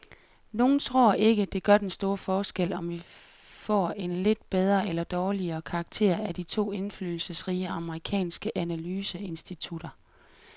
Nogle tror ikke, det gør den store forskel, om vi får en lidt bedre eller dårligere karakter af de to indflydelsesrige amerikanske analyseinstitutter.